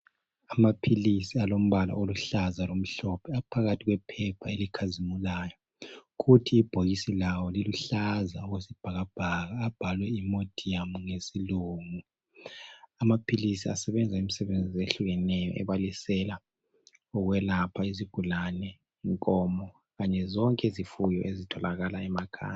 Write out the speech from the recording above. Amaphilisi alombala oluhlaza lomhlophe aphakathi kwephepha elikhazimulayo. Kuthi ibhokisi lawo liluhlaza okwesibhakabhaka abhalwe Imodium ngesilungu. Amaphilisi asebenza imisebenzi ehlukeneyo ebalisela ukwelapha izigulane, inkomo kanye zonke izifuyo ezitholakala emakhaya.